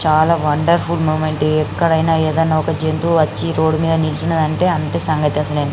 చాల wonderful moment ఎక్కడైనా ఏదైనా ఒక జంతువు వచ్చి రోడ్ మీద నుంచుంది అంటే అంతే సంగతులు --